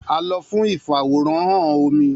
A lọ fun ifaworanhan omi.